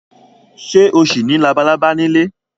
Ṣé o ṣì ní labalábá nílé?